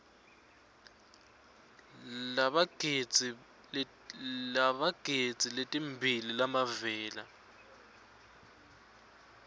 labatigidzi letimbili labavela